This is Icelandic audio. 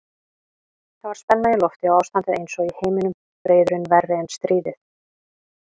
Það var spenna í lofti og ástandið einsog í heiminum, friðurinn verri en stríðið.